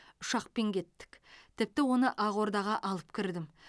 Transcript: ұшақпен кеттік тіпті оны ақордаға алып кірдім